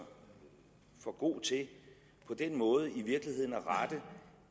for god til på den måde i virkeligheden at rette